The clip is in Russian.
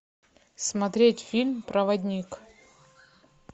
смотреть фильм проводник